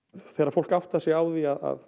þegar fólk áttar sig á því að